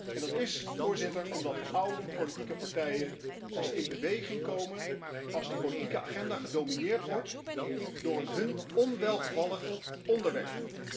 En dat is omdat oude politieke partijen pas in beweging komen als de politieke agenda gedomineerd wordt door een hun onwelgevallig onderwerp.